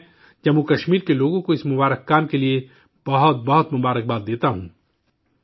میں، جموں کشمیر کے لوگوں کو اس نیک کام کے لیے بہت بہت مبارکباد دیتا ہوں